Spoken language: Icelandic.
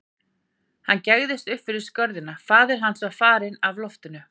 Hann gægðist upp fyrir skörina, faðir hans var farinn af loftinu.